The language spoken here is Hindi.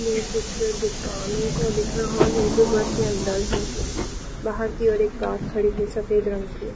यह चित्र दुकानों का दिख रहा है जो घर के अंदर है| बाहर की और एक कार खड़ी है सफेद रंग की।